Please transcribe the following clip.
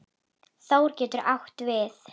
Þór getur átt við